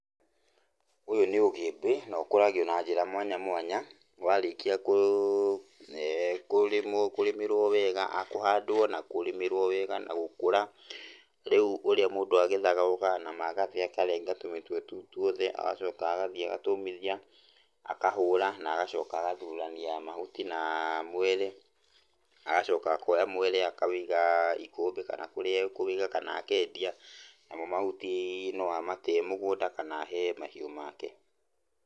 Ũyũ nĩ ũgĩmbĩ nokũragio na njĩra mwanya mwanya. Warĩkia kũ, kũrĩmwo, kũrĩmĩrwo wega, kũhandwo na kũrĩmĩrwo wega na gũkũra, rĩũ ũrĩa mũndũ agethaga, okaga na magathĩ akarenga tũmĩtwe tũu twothe agacoka agathiĩ agatũmithia, akahũra nagacoka agathurania mahuti na mwere. Agacoka akoya mwere akawĩiga ikũmbĩ kana kũrĩa akũwĩiga kana akendia, namo mahuti no amate mũgũnda kana ahe mahiũ make.